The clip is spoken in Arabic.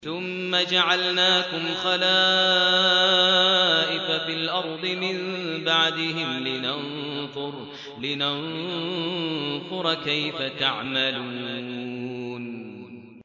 ثُمَّ جَعَلْنَاكُمْ خَلَائِفَ فِي الْأَرْضِ مِن بَعْدِهِمْ لِنَنظُرَ كَيْفَ تَعْمَلُونَ